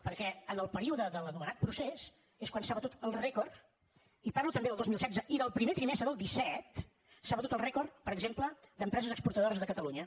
perquè en el període de l’anomenat procés és quan s’ha batut el rècord i parlo també del dos mil setze i del primer trimestre del disset per exemple d’empreses exportadores de catalunya